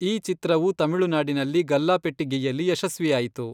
ಈ ಚಿತ್ರವು ತಮಿಳುನಾಡಿನಲ್ಲಿ ಗಲ್ಲಾಪೆಟ್ಟಿಗೆಯಲ್ಲಿ ಯಶಸ್ವಿಯಾಯಿತು.